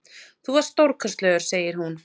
Þú varst stórkostlegur, segir hún.